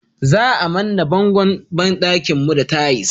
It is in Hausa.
Za a manne bangon banɗakin mu da tais